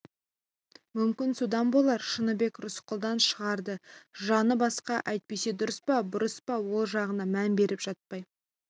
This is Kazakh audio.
мүмкін содан болар шыныбек рысқұлдан шығарда жаны басқа әйтпесе дұрыс па бұрыс па ол жағына мән беріп жатпай